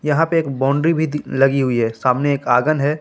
यहां पे एक बाउंड्री भी दि लगी हुई है सामने एक आंगन है।